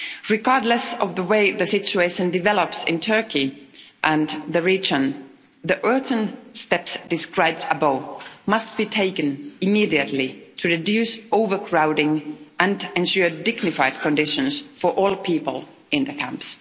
Regardless of the way the situation develops in Turkey and the region, the urgent steps described above must be taken immediately to reduce overcrowding and ensure dignified conditions for all people in the camps.